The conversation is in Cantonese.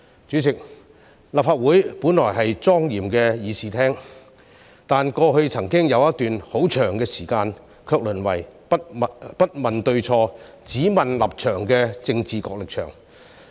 主席，立法會本來是莊嚴的議事廳，但過去曾經有一段很長時間，卻淪為不問對錯、只問立場的政治角力場。